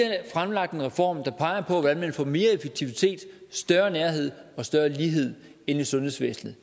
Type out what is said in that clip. fremlagt en reform der peger på hvordan man får mere effektivitet større nærhed og større lighed ind i sundhedsvæsenet